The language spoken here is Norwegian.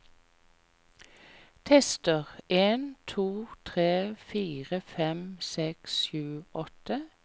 Tester en to tre fire fem seks sju åtte